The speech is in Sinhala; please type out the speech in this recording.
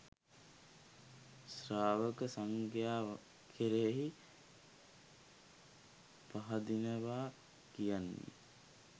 ශ්‍රාවක සංඝයා කෙරෙහි පහදිනවා කියන්නේ.